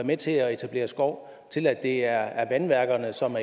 med til at etablere skov til at det er vandværkerne som